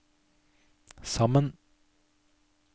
sammen